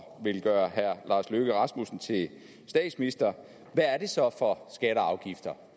vil gøre herre lars løkke rasmussen til statsminister så er for skatter og afgifter